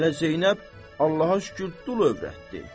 Hələ Zeynəb Allaha şükür dul övrətdi.